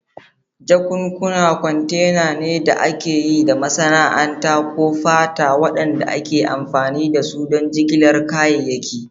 Jakunkuna kwantena ne da aka yi da masana'anta ko fata waɗanda ake amfani da su don jigilar kayayyaki.